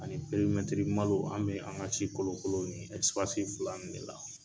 Ani malo an bɛ an ka si kolokolo nin fila ninnu de la.